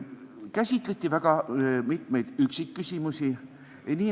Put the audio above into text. Käsitleti ka väga mitmesuguseid üksikküsimusi.